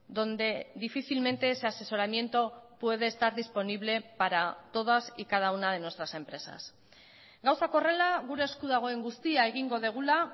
donde difícilmente ese asesoramiento puede estar disponible para todas y cada una de nuestras empresas gauzak horrela gure esku dagoen guztia egingo dugula